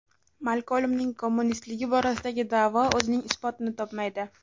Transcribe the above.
Malkolmning kommunistligi borasidagi da’vo o‘zining isbotini topmaydi.